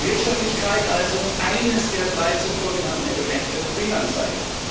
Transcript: Wirtschaftlichkeit also, eines der drei zuvor genannten Elemente Fehlanzeige.